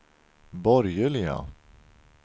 borgerliga